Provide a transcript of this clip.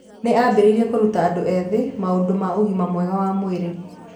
Nĩ aambĩrĩirie kũruta andũ ethĩ maũndũ ma ũgima mwega wa mwĩrĩ.